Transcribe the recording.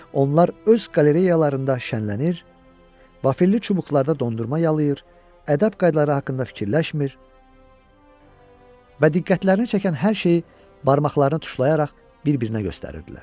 Onlar öz qalereyalarında şənlənir, vaferli çubuqlarda dondurma yalır, ədəb qaydaları haqqında fikirləşmir və diqqətlərini çəkən hər şeyi barmaqlarını tuşlayaraq bir-birinə göstərirdilər.